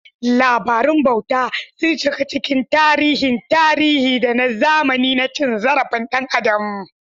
Labarun bauta sun shiga cikin tarihin tarihi da na zamani na cin zarafin ɗan adam.